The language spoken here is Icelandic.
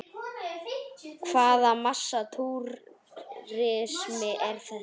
Hvaða massa túrismi er þetta?